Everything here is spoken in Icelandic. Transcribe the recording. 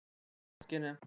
Fylgst með fræga fólkinu